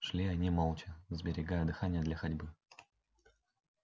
шли они молча сберегая дыхание для ходьбы